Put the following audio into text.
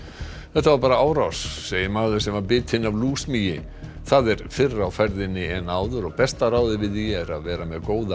þetta var bara árás segir maður sem var bitinn af það er fyrr á ferðinni en áður og besta ráðið við því er að vera með góða